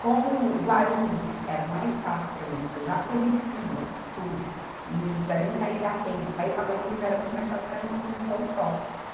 Como Guarulhos era mais fácil para mim, porque eu já conhecia tudo, e para mim sair da penha para ir para Guarulhos era muito mais fácil, porque era uma condução só.